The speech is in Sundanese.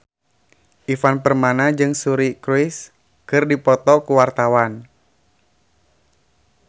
Ivan Permana jeung Suri Cruise keur dipoto ku wartawan